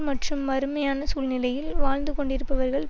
மற்றும் வறுமையான சூழ்நிலையில் வாழ்ந்து கொண்டிருப்பவர்கள்